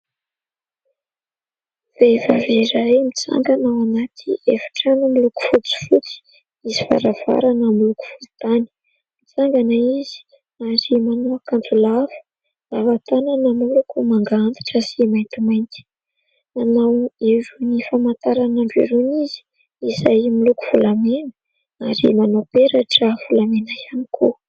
Vehivavy iray mitsangana ao anaty efitrano miloko fotsifotsy, misy varavarana miloko volontany. Mitsangana izy ary manao akanjo lava, lava tanana, miloko manga antitra sy maintimainty ; nanao irony famantaran'ora irony izy, izay miloko volamena ary manao peratra volamena ihany koa.